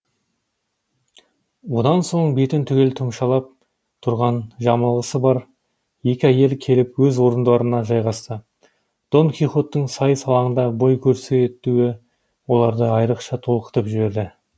одан соң бетін түгел тұмшалап тұрған жамылғысы бар екі әйел келіп өз орындарына жайғасты дон кихоттың сайыс алаңында бой көрсетуі оларды айрықша толқытып жіберді